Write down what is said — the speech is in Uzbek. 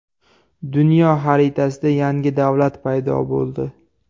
Dunyo xaritasida yangi davlat paydo bo‘ldi.